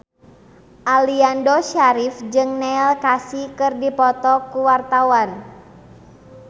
Aliando Syarif jeung Neil Casey keur dipoto ku wartawan